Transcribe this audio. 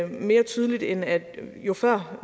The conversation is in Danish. mere tydeligt end at jo før